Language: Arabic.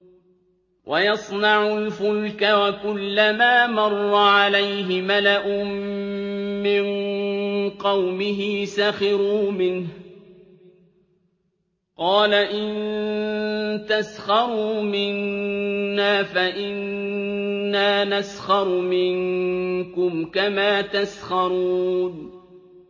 وَيَصْنَعُ الْفُلْكَ وَكُلَّمَا مَرَّ عَلَيْهِ مَلَأٌ مِّن قَوْمِهِ سَخِرُوا مِنْهُ ۚ قَالَ إِن تَسْخَرُوا مِنَّا فَإِنَّا نَسْخَرُ مِنكُمْ كَمَا تَسْخَرُونَ